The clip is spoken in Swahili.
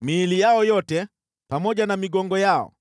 Miili yao yote, pamoja na migongo yao,